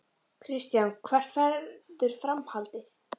Kristján: Hvert verður framhaldið?